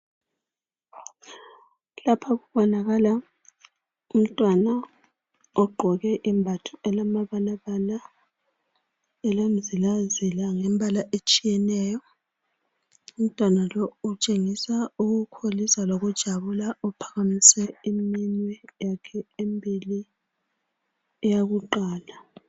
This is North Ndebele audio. Lapha kubonakala umntwana ogqoke imbatho elamabalala , elemizilazila lembala etshiyeneyo . Umntwana lowu utshengisa ukukholisa lokujabula . Uphakamise iminwe yakhe emibili eyakuqala.